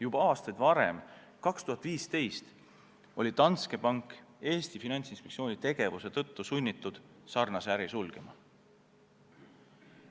Juba aastaid varem, 2015 oli Danske Bank Eesti Finantsinspektsiooni tegevuse tõttu sunnitud samasuguse äri sulgema.